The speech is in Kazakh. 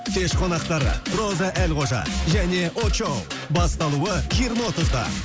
кеш қонақтары роза әлқожа және очоу басталуы жиырма отызда